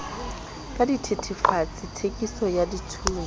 ka dithetefatsi theiso ya dithunya